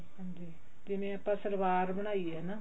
ਹਾਂਜੀ ਜਿਵੇਂ ਆਪਾਂ ਸਲਵਾਰ ਬਣਾਈ ਆ ਹਨਾ